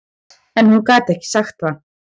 En hún gat ekki sagt það.